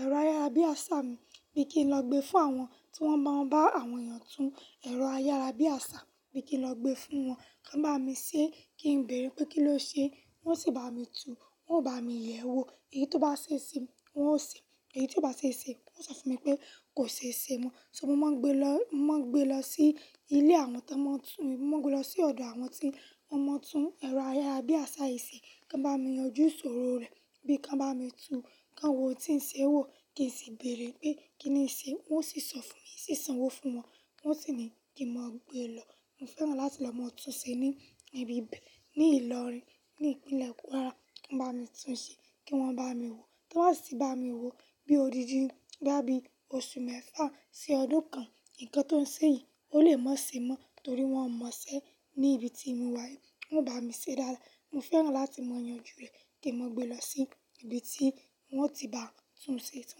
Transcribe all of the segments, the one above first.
ẹ̀rọ ayárabíàṣá mi bí kí n lọ gbé fún àwọn tí wọ́n máa ń bá àwọn èèyàn tún ẹ̀rọ ayárabíàṣá mi kí n lọ gbé fún wọn. Kàn bá mi ṣé kí n béèrè pé kí ló ṣe, wọ́n sì bá mi tú, wọ́n ò bá mi yẹ̀ ẹ́ wò. Èyí tó bá ṣe ṣe wọ́n ó ṣe, èyí tió bá ṣe ṣe wọ́n sọ fún mi pé kò ṣe ṣe mọ́. Ṣé mo máa gbe lọ, máa gbe lọ sí ilé àwọn tó máa ń tún, mo máa gbe lọ sí ọ̀dọ̀ àwọn tí wọ́n mọ tún ẹ̀rọ ayárabíàṣá yìí ṣe kí wọ́n bá mi yanjú ìṣòro rẹ̀, bí kí wọ́n bá mi tú, kí wọn wó ntìí ṣe wò, kí n sì béèrè pé kí ni ì ṣe. Wọ́n sì sọ fún mi, mo sì sanwó fún wọn, wọ́n sì ní kí mo gbe lọ. Mo fẹ́ràn láti lọ máa tún ṣe ní ibi b, ní Ìlọrin, ní ìpínlẹ̀ Kwara. Kàn bá mi tún ṣe kí wọ́n bá mi wò. Kí wọ́n sì bá mi wò bí odidi boya bí oṣù mẹ́fà sí ọdún kan. Ǹkan tó ń ṣe yìí ó lè mọ́ ṣe mọ́ torí wọ́n mọ̀ọ́ṣẹ́ ní ibi tí mo wà yìí. Wọn bá mi ṣe dáadáa. Mo fẹ́ràn láti mọ̀ yanjú rẹ̀ kí n máa gbé lọ sí ibi tí wọ́n o ti bán tún ṣe, tí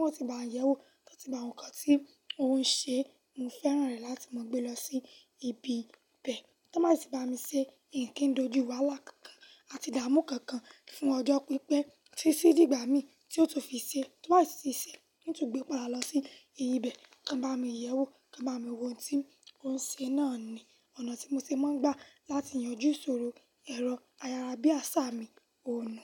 wọ́n ti bán yẹ̀ ẹ́ wò, tí wọ́n ti bá ń wo nkan tí ó ń ṣe. Mo fẹ́ràn rẹ̀ láti máa gbé lọ sí ibi be. Tí wọ́n bá si bami ṣe, mi kí ń kojú wáhalá kànkàn àti idààmú kankan fún ọjọ́ pípé títi dìgbà mí tí ó tún fi ṣe, to ba sì tun ti ṣe, in tun gbé padà lọ sí ibẹ̀ kan bá mi yẹ̀ ẹ́ wò, kan bá mi wo ohun tí ó ń ṣe náà ni ọ̀nà tí mo ṣe máa ń gbà láti yanjú ìṣòro ẹ̀rọ ayárabíàṣá mi òònu.